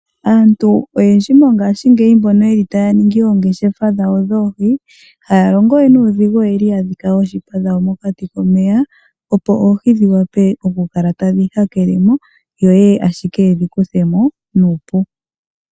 Aantu oyendji mongashi ngeyi mbono yeli ta ya ningi oongeshefa dhawo dhoohi iha ya longowe nuudhigu oyeli ya dhika oshiipa dhawo mokati komeya opo oohi dhi wape okukala tadhi ha kelemo, yo yeye ashike yedhi kuthemo nuupu.